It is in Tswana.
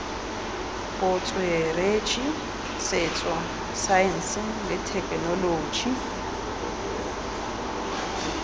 botsweretshi setso saense le thekenoloji